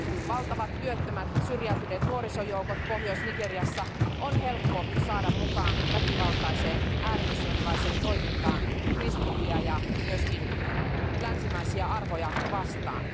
Valtavat työttömät syrjäytyneet nuorisojoukot Pohjois Nigeriassa on helppo saada mukaan väkivaltaiseen ääri islamilaiseen toimintaan kristittyjä ja myös länsimaisia arvoja vastaan.